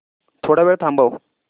थोडा वेळ थांबव